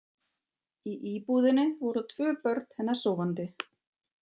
Í íbúðinni voru tvö börn hennar sofandi.